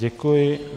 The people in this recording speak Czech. Děkuji.